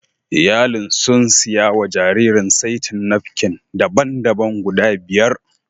Iyalin sun siya wa jaririn saitin napkin daban-daban guda biyar